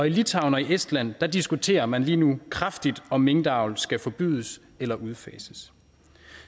litauen og estland diskuterer man lige nu kraftigt om minkavl skal forbydes eller udfases